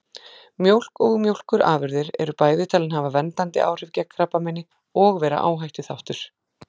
Mjólk og mjólkurafurðir eru bæði talin hafa verndandi áhrif gegn krabbameini og vera áhættuþáttur.